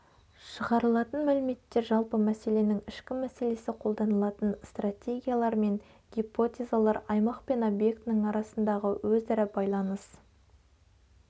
шығарылатын мәліметтер жалпы мәселенің ішкі мәселесі қолданылатын стратегиялар мен гипотезалар аймақ пен объектінің арасындағы өзара байланыс